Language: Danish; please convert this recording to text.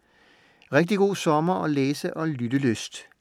Rigtig god sommer og læse- og lyttelyst.